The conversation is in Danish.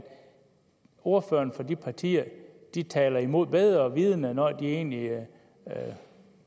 ordførerne for de to partier taler imod bedre vidende når de egentlig